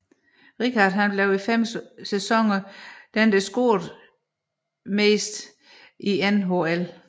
Richard blev i fem sæsoner den mest scorende spiller i NHL